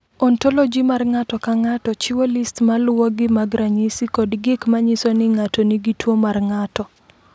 "Ontoloji mar ng’ato ka ng’ato chiwo list ma luwogi mag ranyisi kod gik ma nyiso ni ng’ato nigi tuwo mar ng’ato."